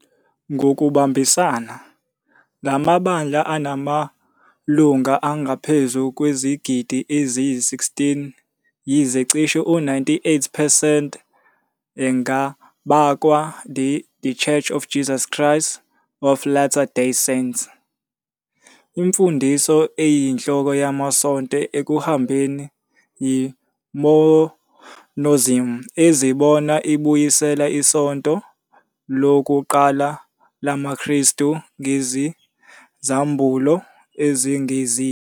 Ngokubambisana, la mabandla anamalungu angaphezu kwezigidi eziyi-16,yize cishe u-98 percent engabakwa The Church of Jesus Christ of Latter-day Saints. Imfundiso eyinhloko yamasonto ekuhambeni yiMormonism, ezibona ibuyisela isonto lokuqala lamaKristu ngezambulo ezengeziwe.